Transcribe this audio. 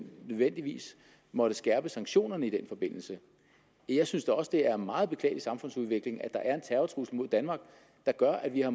nødvendigvis måtte skærpe sanktionerne i den forbindelse jeg synes da også det er en meget beklagelig samfundsudvikling at der er en terrortrussel mod danmark der gør at vi har